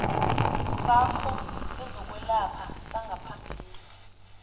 sakho sezokwelapha sangaphambilini